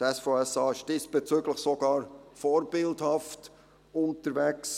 Das SVSA ist diesbezüglich sogar vorbildhaft unterwegs: